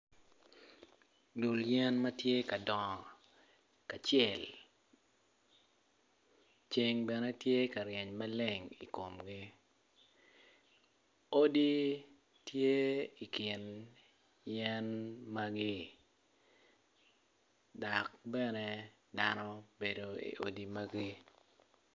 Dul yen matye kadongo kacel ceng bene tye ka ryeny maleng ikomgi odi tye ikin yen magi dok bene dano bedo i odi magi